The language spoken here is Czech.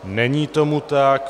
Není tomu tak.